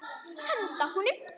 Henda honum?